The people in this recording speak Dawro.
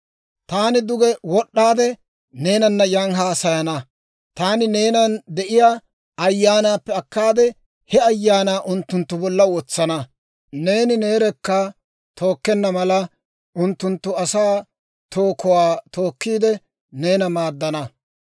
Taani duge wod'd'aade neenana yan haasayana; taani neenan de'iyaa Ayyaanaappe akkaade, he Ayaanaa unttunttu bolla wotsana. Neeni neerekka tookkenna mala, unttunttu asaa tookuwaa tookkiide, neena maaddana.